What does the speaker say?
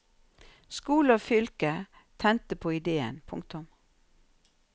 Skole og fylke tente på idéen. punktum